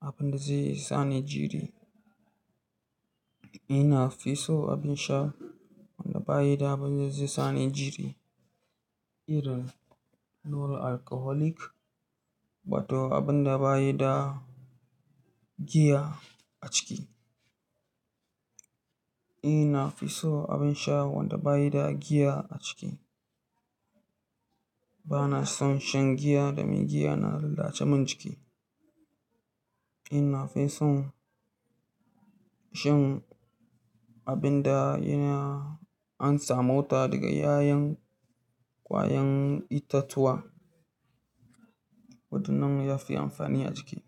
abin da zai sani jiri. Ina fi so abin sha wanda baya da abin da zai sani jiri, irin na non alcoholic, wato abin da bayi da giya a ciki. Ina fi so abin sha wanda bayi da giya a ciki. Bana son shan giya domin giya na zalace min ciki. Ina fi son shan abin da an samu ta daga yayen kwayan itatuwa, wadannan yafi amfani a jiki.